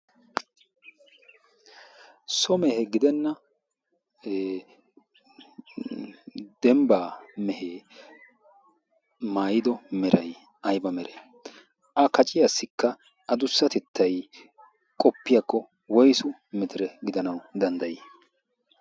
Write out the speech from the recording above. So mehe gidenna dembbaa mehee maayido meray ayba meree?A qaciyassikka adussatettay qoppiyakko woysu mitire gidanawu danddayii?